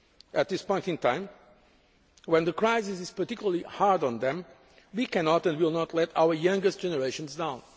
At this point in time, when the crisis is particularly hard on them, we cannot and will not let our youngest generations down.